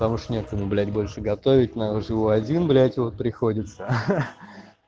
тому что некому блять больше готовить надо живу один блять вот приходится